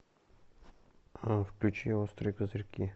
включи острые козырьки